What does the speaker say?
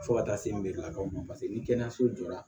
Fo ka taa se n bɛ lakali ma paseke ni kɛnɛyaso jɔra